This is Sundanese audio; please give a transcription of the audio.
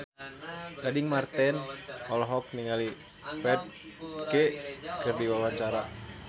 Gading Marten olohok ningali Ferdge keur diwawancara